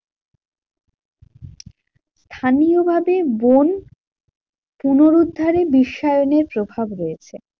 স্থানীয় ভাবে বন পুনরুদ্ধারে বিশ্বায়নের প্রভাব রয়েছে।